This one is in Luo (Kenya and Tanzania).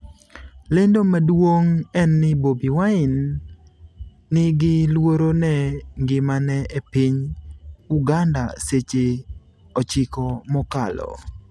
lendo maduong' en ni Bobi Wine 'ni gi luoro ne ngimane' e piny Uganda seche 9 mokalo